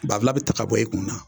Banfula bɛ ta ka bɔ i kun na